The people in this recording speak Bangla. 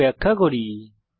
কোড ব্যাখ্যা করি